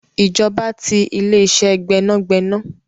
Ìjọba ti ile-ise gbẹ́nàgbẹ́nà.